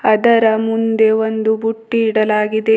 ಅದರ ಮುಂದೆ ಒಂದು ಬುಟ್ಟಿ ಇಡಲಾಗಿದೆ.